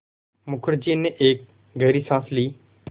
मुखर्जी ने एक गहरी साँस ली